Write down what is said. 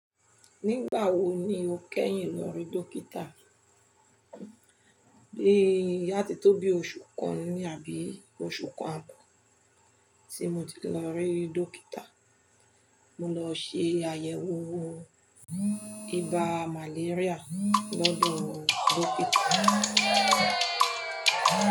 Nígbà wo ni o kẹ́yìn lọ rí dókítà? Bí àti tó bí oṣù kan ni àbí oṣù kan ààbọ̀ tí mo ti lọ rí dókítà. Mo lọ ṣe àyẹ̀wò ibà màléríà lọ́dọ̀ dókítà.